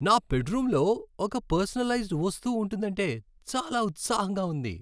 నా బెడ్రూమ్లో ఒక పర్సనలైజ్డ్ వస్తువు ఉంటుందంటే చాలా ఉత్సాహంగా ఉంది.